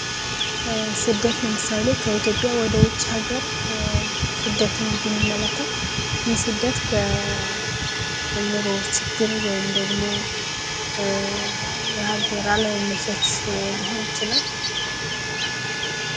ስደት ለምሳሌ ከኢትዮጵያ ወደ ውጭ ሀገር ስደትን ብንመለከት፤ የስደት በኑሮው ችግር ወይም ደግሞ የሀገር አለመመቸት ሊሆን ይችላል።